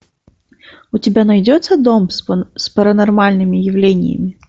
у тебя найдется дом с паранормальными явлениями